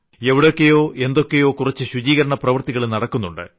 എവിടൊക്കെയോ എന്തൊക്കെയോ കുറച്ചു ശുചീകരണപ്രവൃത്തികളും നടക്കുന്നുണ്ട്